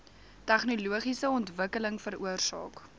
tegnologiese ontwikkeling veroorsaak